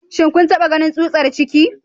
Shin kun taba ganin tsutsar ciki?